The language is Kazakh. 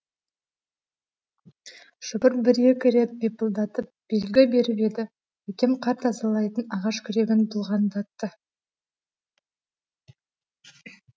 шопыр бір екі рет бипылдатып белгі беріп еді әкем қар тазалайтын ағаш күрегін бұлғаңдатты